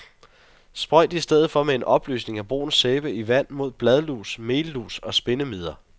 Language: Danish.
Sprøjt i stedet for med en opløsning af brun sæbe i vand mod bladlus, mellus og spindemider.